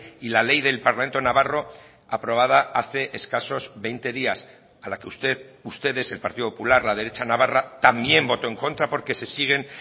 y la ley del parlamento navarro aprobada hace escasos veinte días a la que usted ustedes el partido popular la derecha navarra también votó en contra porque se siguen